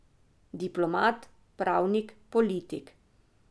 Diplomat, pravnik, politik.